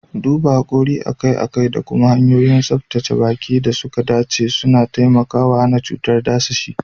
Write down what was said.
Duban hakori akai-akai da kuma hanyoyin tsabtace baki da suka dace suna taimakawa hana cutar dadashi.